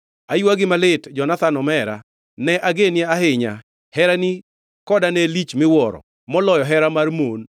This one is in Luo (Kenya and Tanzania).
Aywagi malit, Jonathan omera; ne ageni ahinya. Herani koda ne lich miwuoro, moloyo hera mar mon.